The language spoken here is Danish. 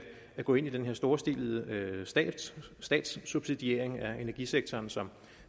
gå ind i den her storstilede statssubsidiering af energisektoren som